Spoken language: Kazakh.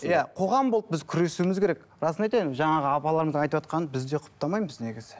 иә қоғам болып біз күресуіміз керек расын айтайын жаңағы апаларымыз айтыватқанын біз де құптамаймыз негізі